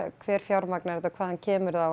hver fjármagnar þetta og hvaðan kemur það og